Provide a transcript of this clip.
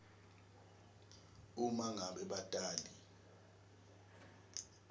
uma ngabe batali